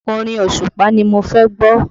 Orin Òṣùpá ni mo fẹ́ gbọ́